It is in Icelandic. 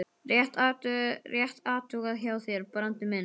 Rétt athugað hjá þér, Brandur minn!